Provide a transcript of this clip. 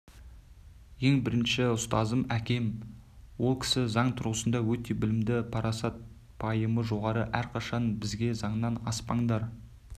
ең бірінші ұстазым әкем ол кісі заң тұрғысында өте білімді парасат-пайымы жоғары әрқашан бізге заңнан аспаңдар